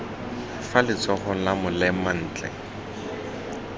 fa letsogong la molema ntle